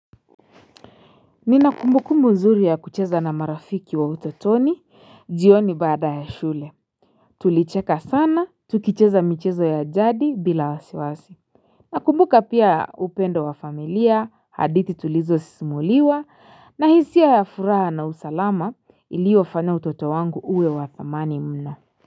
Nina kumbukumbu nzuri ya kucheza na marafiki wa utotoni, jioni baada ya shule. Tulicheka sana, tukicheza michezo ya jadi bila wasiwasi. Nakumbuka pia upendo wa familia, hadithi tulizosimuliwa, na hisia ya furaha na usalama iliofanya utoto wangu uwe wa thamani mno.